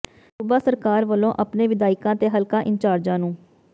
ਸੂਬਾ ਸਰਕਾਰ ਵੱਲੋਂ ਆਪਣੇ ਵਿਧਾਇਕਾਂ ਤੇ ਹਲਕਾ ਇੰਚਾਰਜਾਂ ਨੂੰ